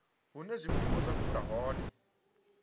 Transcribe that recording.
hune zwifuwo zwa fula hone